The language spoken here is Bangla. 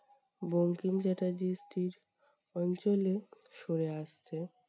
বঙ্কিমচ্যাটার্জি street অঞ্চলে সরে আসছে।